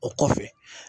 O kɔfɛ